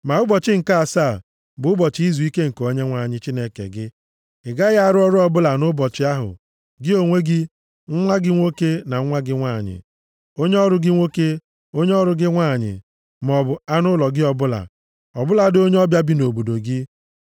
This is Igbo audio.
Ma ụbọchị nke asaa bụ ụbọchị izuike nke Onyenwe anyị Chineke gị. Ị gaghị arụ ọrụ ọbụla nʼụbọchị ahụ, gị onwe gị, nwa gị nwoke na nwa gị nwanyị, onye ọrụ gị nwoke, onye ọrụ gị nwanyị, maọbụ anụ ụlọ gị ọbụla, ọbụladị onye ọbịa bi nʼobodo gị.